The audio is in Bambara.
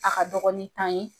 A ka dɔgɔ ni tan ye.